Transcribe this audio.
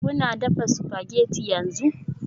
Kuna dafa spaghetti yanzu?